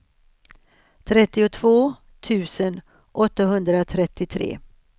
trettiotvå tusen åttahundratrettiotre